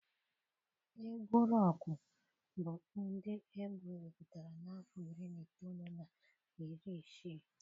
Egwu Rọkụ bụ ụdị egwu ewepụtara na afọ iri na itoolu na iri isii.